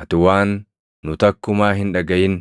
Ati waan nu takkumaa hin dhagaʼin